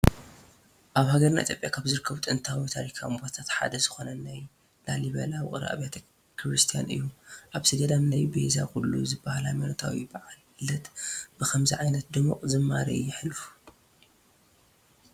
ኣብ ሃገርና ኢ/ያ ካብ ዝርከቡ ጥንታውን ታሪካውን ቦታታት ሓደ ዝኾነ ናይ ላሊበላ ውቑር ኣብያተ ክርስትያናት እዩ፡፡ ኣብቲ ገዳም ናይ ቤዛ ኩሉ ዝባሃል ሃየማኖታዊ በዓል ልደት ብኸምዚ ዓይነት ድሙቕ ዝማሬ ይሓልፍ፡፡